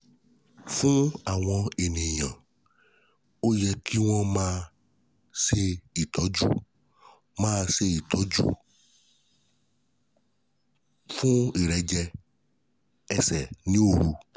Fún àwọn èèyàn, ó yẹ kí wọ́n máa ṣe ìtọ́jú máa ṣe ìtọ́jú fún ìrẹ́jẹ ẹsẹ̀ ní òru